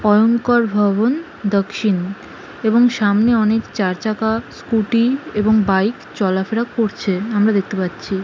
অয়ংকর ভবন দক্ষিন এবং সামনে অনেক চারচাকা স্কুটি এবং বাইক চলাফেরা করছে আমরা দেখতে পাচ্ছি।